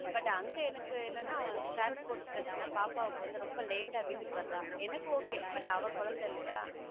But அங்க என்னன்னா transport பிரச்சனா பாப்பாவுக்கு வந்து ரொம்ப late ஆ வீட்டுக்கு வர்றா எனக்கு okay but அவ குழந்தை இல்லையா